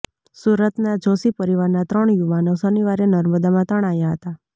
સુરતના જોષી પરિવારના ત્રણ યુવાનો શનિવારે નર્મદામાં તણાયા હતાં